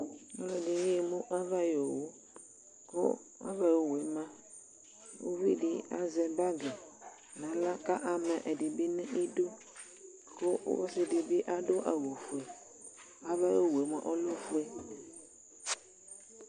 Aluɛɗɩnɩ aƴemu aʋaƴu owue ƙu aʋayu owue ma tsu uʋɩɗɩ azɛ golo nu aɣla ƙu ama ɛɗɩɓɩnu ɩɗu ƙu ɔsɩɗɩɓɩ aɗu awu oʋue aʋaƴu owue ɔlɛ oʋue